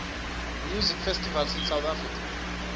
music festivals in south africa